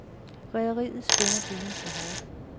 Rederiet spænder buen for hårdt.